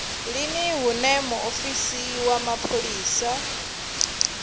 lini hune muofisi wa mapholisa